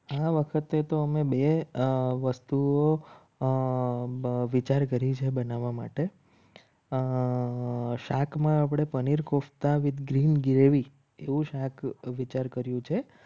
આ વખતે તો અમે બે આ વસ્તુઓ અર વિચાર કરી છે. બનાવવા માટે શાકમાં આપણે પનીર કોફતા green gravy એવું વિચાર કર્યો છે.